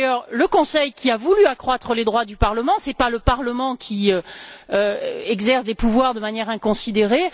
C'est d'ailleurs le Conseil qui a voulu accroître les droits du Parlement, ce n'est pas le Parlement qui exerce des pouvoirs de manière inconsidérée.